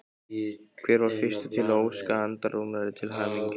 Hver var fyrstur til að óska Andra Rúnari til hamingju?